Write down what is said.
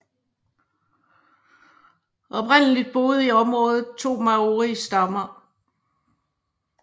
Oprindeligt boede i området to maoristammer